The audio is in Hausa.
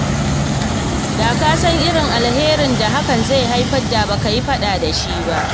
Da ka san irin alkhairi da hakan zai haifar da ba ɓata da shi ba.